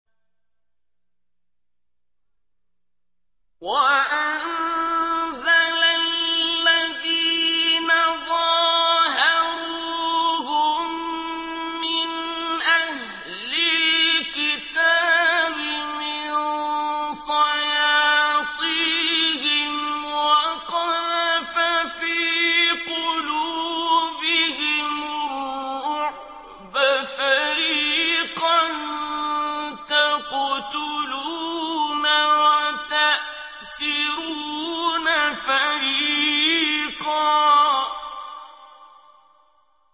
وَأَنزَلَ الَّذِينَ ظَاهَرُوهُم مِّنْ أَهْلِ الْكِتَابِ مِن صَيَاصِيهِمْ وَقَذَفَ فِي قُلُوبِهِمُ الرُّعْبَ فَرِيقًا تَقْتُلُونَ وَتَأْسِرُونَ فَرِيقًا